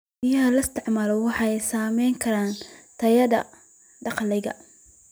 Biyaha la isticmaalo waxay saameyn karaan tayada dalagyada.